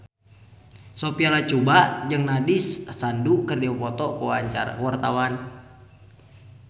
Sophia Latjuba jeung Nandish Sandhu keur dipoto ku wartawan